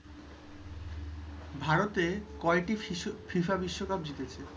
ভারত কয়টি ফিফা বিশ্বকাপ জিতেছে